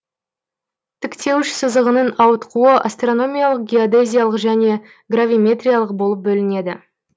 тіктеуіш сызығының ауытқуы астрономиялық геодезиялық және гравиметриялық болып бөлінеді